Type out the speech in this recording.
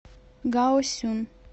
гаосюн